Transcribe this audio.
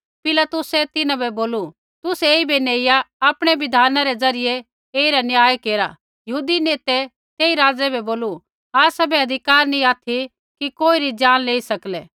पिलातुसै तिन्हां बै बोलू तुसै ऐईबै नेइआ आपणै बिधाना रै ज़रियै ऐईरा न्याय केरा यहूदी नेतै तेई राज़ै बै बोलू आसाबै अधिकार नैंई ऑथि कि कोईरी जान लेई सकलै